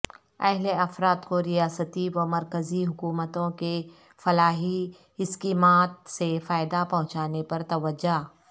اہل افراد کو ریاستی و مرکزی حکومتوں کے فلاحی اسکیمات سے فائدہ پہونچانے پر توجہ